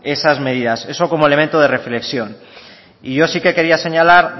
esas medidas eso como elemento de reflexión yo sí que quería señalar